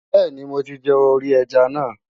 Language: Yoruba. Bẹ́ẹ̀ni. mo ti jẹ orí ẹja náà.